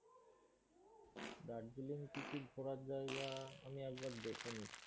দার্জিলিং কি কি ঘোরার জাইগা আমি একবার দেখে নিচ্ছি।